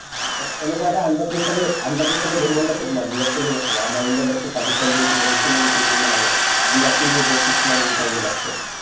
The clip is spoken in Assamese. এ এনেকুৱা এটা under pressure ৰ under pressure ৰ game মনত আছে তোমাৰ বিৰাট কোহলি আ আমাৰ ইণ্ডিয়া versus পাকিস্তান যে হৈছিলে recently কেইদিন মান আগত বিৰাট কোহলিয়ে যে six মাৰি জিকাল যে lastতত